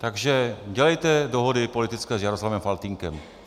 Takže dělejte dohody politické s Jaroslavem Faltýnkem.